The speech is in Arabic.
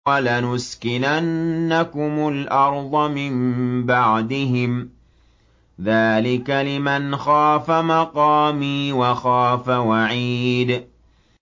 وَلَنُسْكِنَنَّكُمُ الْأَرْضَ مِن بَعْدِهِمْ ۚ ذَٰلِكَ لِمَنْ خَافَ مَقَامِي وَخَافَ وَعِيدِ